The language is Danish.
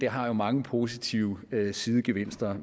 har jo mange positive sidegevinster